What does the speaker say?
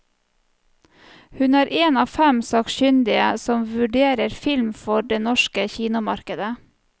Hun er en av fem sakkyndige som vurderer film for det norske kinomarkedet.